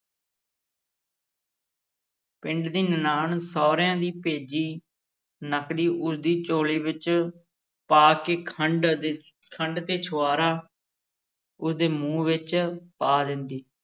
ਪਿੰਡ ਦੀ ਨਨਾਣ ਸਹੁਰਿਆਂ ਦੀ ਭੇਜੀ ਨਕਦੀ ਉਸ ਦੀ ਝੋਲੀ ਵਿੱਚ ਪਾ ਕੇ ਖੰਡ ਦੇ ਖੰਡ ਤੇ ਛੁਹਾਰਾ ਉਸ ਦੇ ਮੂੰਹ ਵਿੱਚ ਪਾ ਦਿੰਦੀ।